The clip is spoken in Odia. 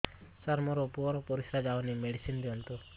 ସାର ମୋର ପୁଅର ପରିସ୍ରା ଯାଉନି ମେଡିସିନ ଦିଅନ୍ତୁ